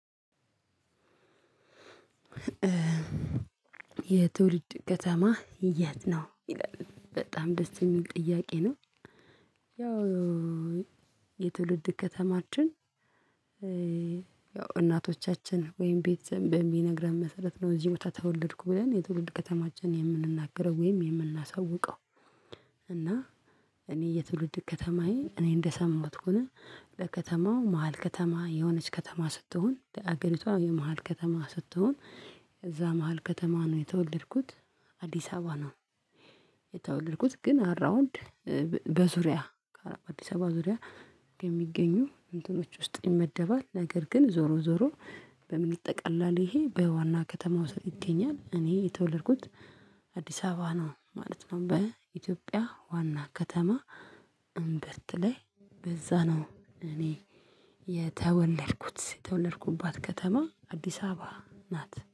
የትውልድ ከተማህ የት ነው ይላል በጣም ደስ የሚል ጥያቄ ነው፤ ያው የትውልድ ከተማችን ያው እናቶቻችን ወይም ቤተሰብ በሚነግረን መሰረት ነው እዚህ ቦታ ተወለድኩ ብለን የትውልድ ከተማችንን የምንናገረው ወይም የምናሳውቀው እና እኔ የትውልድ ከተማዬ እኔ እንደሰማሁት ከሆነ ለከተማው መሃል ከተማ የሆነች ከተማ ስትሆን ለአገሪቷ የመሃል ከተማ ስትሆን እዛ መሃል ከተማ ነው የተወለድኩት አዲስ አበባ ነው የተወለድኩት ግን አራውንድ በዙሪያ አዲስ አበባ ዙሪያ የሚገኙ እንትኖች ውስጥ ይመደባል ነገር ግን ዞሮ ዞሮ በምን ይጠቀላል ይሄ በዋና ከተማ ውስጥ ይገኛል እኔ የተወለድኩት አዲስ አበባ ነው ማለት ነው በኢትዮጵያ ዋና ከተማ እምብት ለይ በዛ ነው እኔ የተወለድኩት የተወለድኩባት ከተማ አዲስ አበባ ናት።